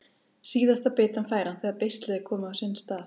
Síðasta bitann fær hann þegar beislið er komið á sinn stað.